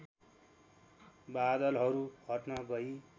बादलहरू हट्न गई